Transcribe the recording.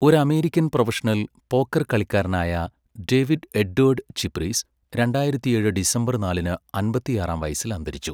ഒരു American professional poker കളിക്കാരനായ David Edward Chip Reese രണ്ടായിരത്തിയേഴ് ഡിസംബർ നാലിന് അമ്പത്തിയാറാം വയസ്സിൽ അന്തരിച്ചു.